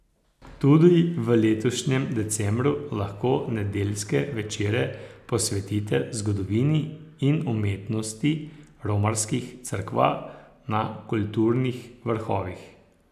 Tudi v letošnjem decembru lahko nedeljske večere posvetite zgodovini in umetnosti romarskih cerkva na kulturnih vrhovih.